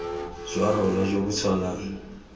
jwa rona jo bo tshwanang